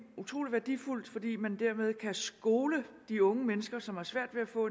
utrolig værdifuldt fordi man dermed kan skole de unge mennesker som har svært ved at få